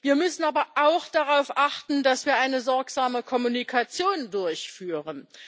Wir müssen aber auch darauf achten, dass wir eine sorgsame Kommunikation durchführen.